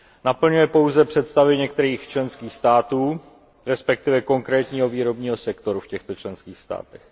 Naplňuje pouze představy některých členských států, respektive konkrétního výrobního sektoru v těchto členských státech.